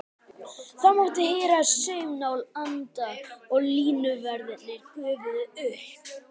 Það mátti heyra saumnál anda og línuverðirnir gufuðu upp.